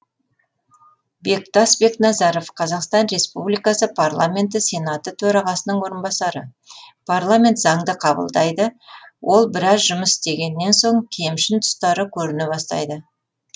бектас бекназаров қазақстан республикасы парламенті сенаты төрағасының орынбасары парламент заңды қабылдайды ол біраз жұмыс істегеннен соң кемшін тұстары көріне бастайды